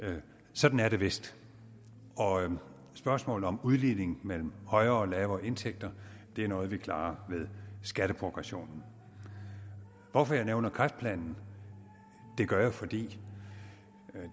sådan er det vist og spørgsmålet om udligning mellem højere og lavere indtægter er noget vi klarer ved skatteprogressionen hvorfor jeg nævner kræftplanen det gør jeg fordi